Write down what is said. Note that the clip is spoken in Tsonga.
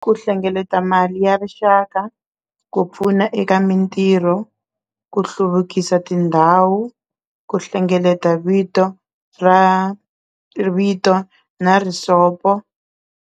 Ku hlengeleta mali ya rixaka ku pfuna eka mintirho ku hluvukisa tindhawu ku hlengeleta vito ra vito na risopo.